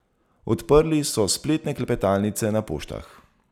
Odprli so spletne klepetalnice na poštah.